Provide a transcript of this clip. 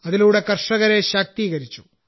അതിലൂടെ ധാരാളം കർഷകരെ ശാക്തീകരിച്ചു